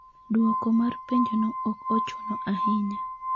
Dwoko mar penjono ok ochuno ahinya.